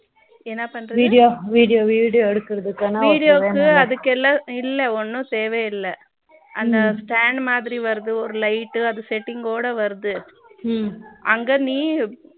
என்ன பண்றது video video video எடுக்குறதுக்கான வீடியோவுக்கு அதுக்கு எல்லாம் இல்ல ஒன்னும் தேவை இல்லை அந்த stand மாதிரி வருது ஒரு light அது செட்டிங்கோட வருது அங்க நீ